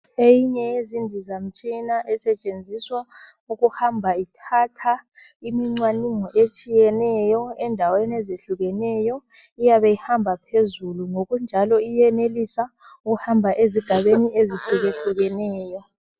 Eyinye yezindizamtshina esetshenziswa ukuhamba ithatha imincwanungo etshiyeneyo, endaweni ezehlukeneyo. Iyabe ihamba phezulu, ngokunjalo iyenelisa ukuhamba ezigabeni ezihlukahlukeneyo.